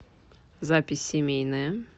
запись семейная